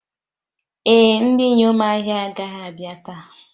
Ee, Ndị inyom ahịa agaghị abịa taa